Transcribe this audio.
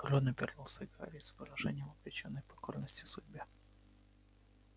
рон обернулся к гарри с выражением обречённой покорности судьбе